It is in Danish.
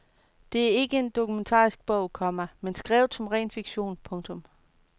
Den er ikke en dokumentarisk bog, komma men skrevet som ren fiktion. punktum